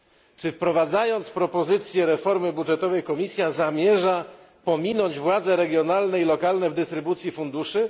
Czy wprowadzając propozycję reformy budżetowej, Komisja zamierza pominąć władze regionalne i lokalne w dystrybucji funduszy?